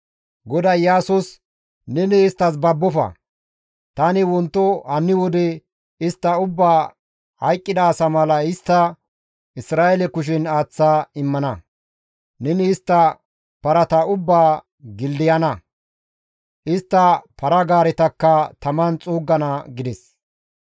GODAY Iyaasos, «Neni isttas babbofa! Tani wonto hanni wode istta ubbaa hayqqida asa mala histta Isra7eele kushen aaththa immana. Neni istta parata ubbaa gildayana; istta para-gaaretakka taman xuuggana» gides.